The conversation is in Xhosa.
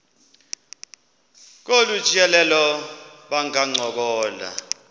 kolu tyelelo bangancokola